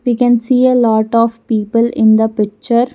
We can see a lot of people in the picture.